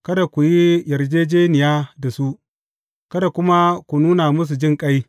Kada ku yi yarjejjeniya da su, kada kuma ku nuna musu jinƙai.